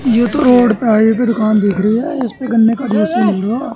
ये तो रोड पे की दुकान दिख रही है इस पे गन्ने का ज्यूस मिलेगा।